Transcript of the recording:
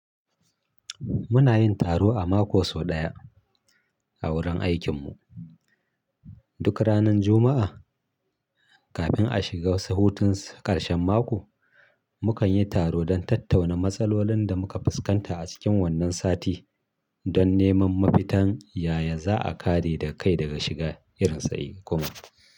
Muna yin taro a mako sau ɗaya a wurin aikinmu. Duk ranar Juma'a, kafin a shiga hutun ƙarshen mako, mu kan yi taro don tattauna matsalolin da muka fuskanta a cikin wannan sati don neman mafitan yaya za a kare da kai daga shiga irinsa kuma.